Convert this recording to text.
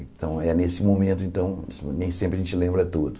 Então é nesse momento, então nem sempre a gente lembra tudo.